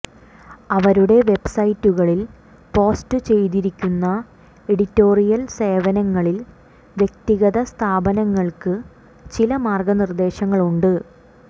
അവരുടെ വെബ്സൈറ്റുകളിൽ പോസ്റ്റുചെയ്തിരിക്കുന്ന എഡിറ്റോറിയൽ സേവനങ്ങളിൽ വ്യക്തിഗത സ്ഥാപനങ്ങൾക്ക് ചില മാർഗ്ഗനിർദ്ദേശങ്ങളുണ്ട്